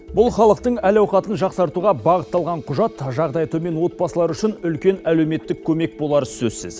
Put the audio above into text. бұл халықтың әл ауқатын жақсартуға бағытталған құжат жағдайы төмен отбасылар үшін үлкен әлеуметтік көмек болары сөзсіз